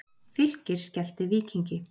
Fylkir skellti Víkingi